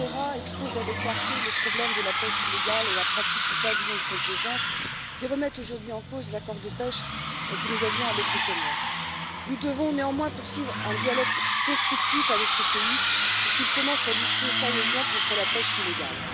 Ferreira expose avec clarté le problème de la pêche illégale et la pratique du pavillon de complaisance, qui remettent aujourd'hui en cause l'accord de pêche que nous avions avec les Comores. Nous devons néanmoins poursuivre un dialogue constructif avec ce pays, pour qu'il commence à lutter sérieusement contre la pêche illégale.